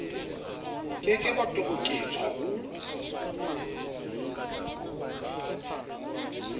ke ke ba toboketswa ho